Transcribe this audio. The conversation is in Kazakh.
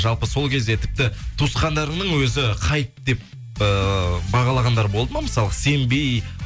жалпы сол кезде тіпті туысқандарыңның өзі хайп деп ыыы бағалағандар болды ма мысалғы сенбей